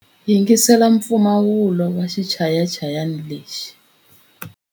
Yingisela mpfumawulo wa xichayachayani lexi.